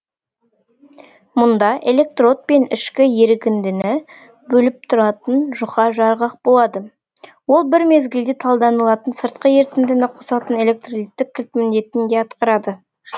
мұнда электрод пен ішкі ерігіндіні бөліп тұратын жұқа жарғақ болады ол бір мезгілде талданылатын сыртқы ерітіндіні қосатын электролиттік кілт міндетін де атқарады